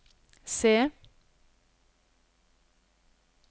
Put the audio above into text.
C